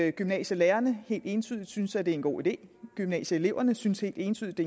at gymnasielærerne helt entydigt synes at det er en god idé gymnasieeleverne synes helt entydigt